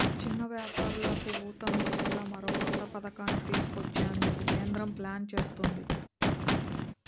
చిన్న వ్యాపారులకు ఊతం ఇచ్చేలా మరో కొత్త పథకాన్ని తీసుకొచ్చేందుకు కేంద్రం ప్లాన్ చేస్తోంది